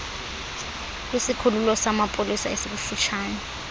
kwisikhululo samapolisa esikufutshane